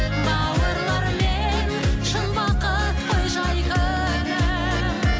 бауырлармен шын бақыт қой жай күнім